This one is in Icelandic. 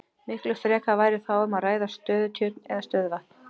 Miklu frekar væri þá um að ræða stöðutjörn eða stöðuvatn.